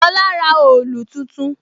Lola ra òòlù tuntun